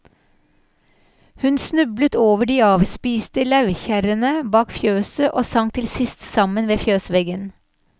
Hun snublet over de avspiste lauvkjerrene bak fjøset, og sank til sist sammen ved fjøsveggen.